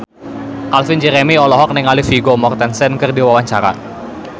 Calvin Jeremy olohok ningali Vigo Mortensen keur diwawancara